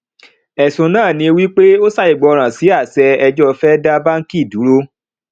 ẹsùn náà ní wípé ó ṣàìgbọràn sí àṣẹ ẹjọ fẹ dá báńkì dúró